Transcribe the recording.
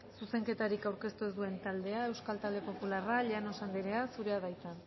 zuzenketarik aurkeztu ez duen taldea euskal talde popularra llanos anderea zurea da hitza